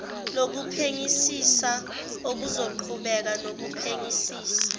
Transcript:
lophenyisiso ozoqhubeka nokuphenyisisa